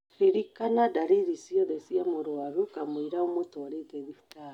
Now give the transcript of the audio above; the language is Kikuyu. Ririkana dariri ciothe cia mũrũaru kamũira ũmũtũarite thibitarĩ.